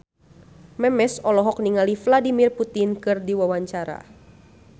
Memes olohok ningali Vladimir Putin keur diwawancara